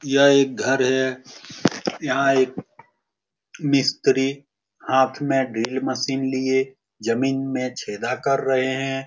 यह एक घर है यहाँ एक मिस्त्री हाथ में ड्रिल मशीन लिए जमीन में छेदा कर रहें हैं ।